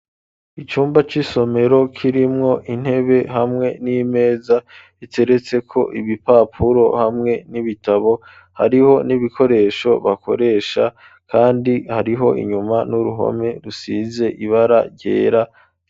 Icumba c'isomero kirimwo intebe hamwe n'imeza iteretseko ibipapuro hamwe n'ibitabo hariho n'ibikoresho bakoresha kandi hariho inyuma n'uruhome rusize ibara ryera.